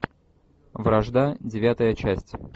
вражда девятая часть